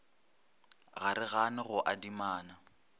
ga re gane go adimana